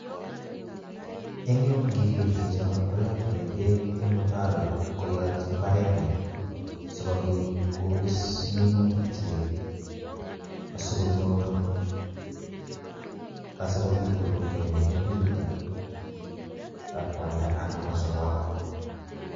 Eng yu ngiker chicho koyotei bek eng mutaroit koyatnyin imbarenyi sikobit kobis minutiknyik sikonyor asikobit korurio minutichutok ak koalde anan sikoam.